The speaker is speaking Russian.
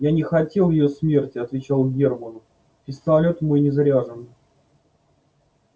я не хотел её смерти отвечал германн пистолет мой не заряжен